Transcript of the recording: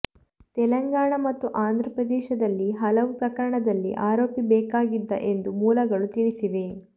ತೆಲಂಗಾಣ ಮತ್ತು ಆಂಧ್ರಪ್ರದೇಶದಲ್ಲಿ ಹಲವು ಪ್ರಕರಣಗಳಲ್ಲಿ ಆರೋಪಿ ಬೇಕಾಗಿದ್ದ ಎಂದು ಮೂಲಗಳು ತಿಳಿಸಿವೆ